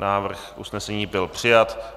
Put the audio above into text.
Návrh usnesení byl přijat.